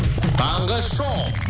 таңғы шоу